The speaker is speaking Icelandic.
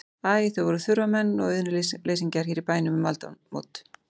Æ, þau voru þurfamenn og auðnuleysingjar hér í bænum um aldamót.